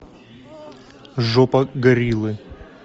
жопа гориллы